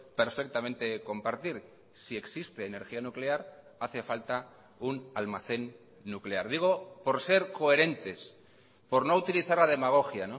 perfectamente compartir si existe energía nuclear hace falta un almacén nuclear digo por ser coherentes por no utilizar la demagogia